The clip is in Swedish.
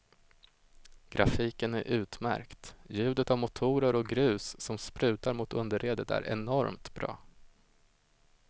Grafiken är utmärkt, ljudet av motorer och grus som sprutar mot underredet är enormt bra.